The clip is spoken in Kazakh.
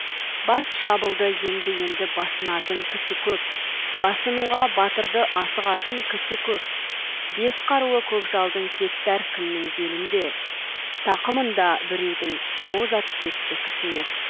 бас шабылды енді енді басынатын кісі көп басынуға батырды асығатын кісі көп бес қаруы көкжалдың кетті әркімнің белінде тақымында біреудің боз ат кетті кісінеп